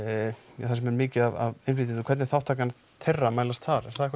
mjög mikið af innflytjendum hvernig er þátttakan þeirra að mælast þar er það eitthvað